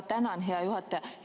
Tänan, hea juhataja!